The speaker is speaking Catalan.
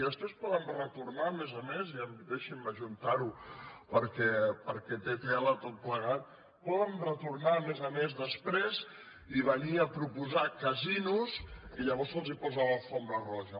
i després poden retornar a més a més i deixin·me ajuntar·ho perquè té tela tot plegat poden retornar a més a més després i venir a proposar casinos i llavors se’ls posa la catifa roja